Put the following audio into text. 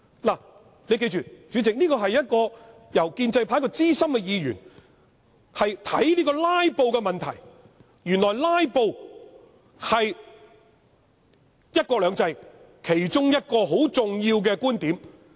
代理主席，議員要記得，這是建制派一位資深議員看待"拉布"問題的方式，原來"拉布"是"一國兩制"其中一個重點。